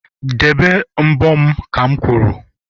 debe mbo ha'm kwuru!